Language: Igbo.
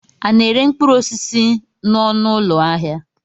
A na-ere mkpụrụosisi n'ọnụụlọ ahịa?